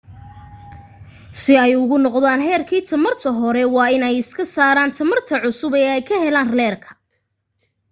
si ay ugu noqdaan heerki tamarta hore waa in ay iska saaran tamarta cusub ay ka heleen leerka